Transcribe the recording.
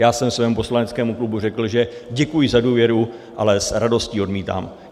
Já jsem svému poslaneckému klubu řekl, že děkuji za důvěru, ale s radostí odmítám.